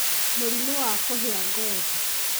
Mũrimũ wa kũhĩa ngothi: